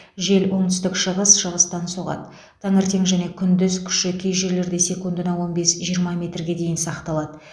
жел оңтүстік шығыс шығыстан соғады таңертең және күндіз күші кей жерлерде секундына он бес жиырма метрге дейін сақталады